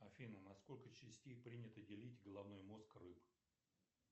афина на сколько частей принято делить головной мозг рыб